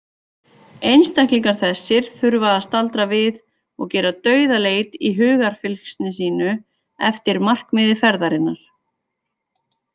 Einstaklingar þessir þurfa að staldra við og gera dauðaleit í hugarfylgsni sínu eftir markmiði ferðarinnar.